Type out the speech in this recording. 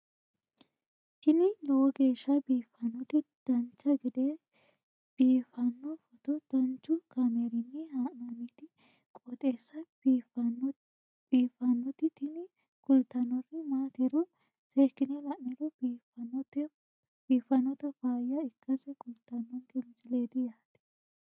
tini lowo geeshsha biiffannoti dancha gede biiffanno footo danchu kaameerinni haa'noonniti qooxeessa biiffannoti tini kultannori maatiro seekkine la'niro biiffannota faayya ikkase kultannoke misileeti yaate